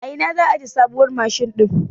A ina za a aje sabuwar mashin din?